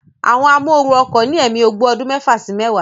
Àwọn amóooru ọkọ̀ ní ẹ̀mí ogbó ọdún mẹ́fà sí mẹ́wàá